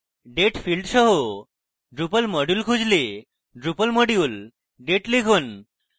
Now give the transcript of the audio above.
date field সহ drupal module খুঁজলে drupal module date লিখুন